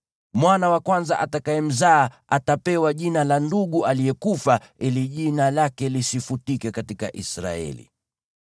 Mwana wa kwanza atakayemzaa atapewa jina la ndugu aliyekufa ili jina lake lisifutike katika Israeli.